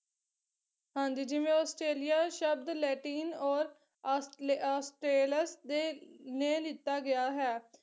ਹਾਂਜੀ ਜਿਵੇਂ ਆਸਟ੍ਰੇਲੀਆ ਸ਼ਬਦ ਲੈਟਿਨ ਔਰ ਅਸ ਅਸਲੇ ਅਸਟੇਲੇਸ ਦੇ ਨੇ ਲੀਤਾ ਗਿਆ ਹੈ